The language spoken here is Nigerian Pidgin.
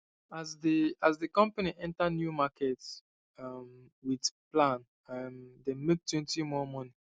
as the as the company enter new market um with plan um dem maketwentymore money